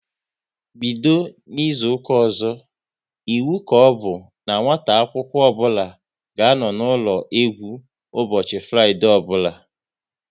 Bido n'izuka ọzọ, iwu ka ọbụ n'nwata akwụkwọ ọbụla ga-anọ n'ụlọ egwu ụbọchị Fraịdee ọbụla!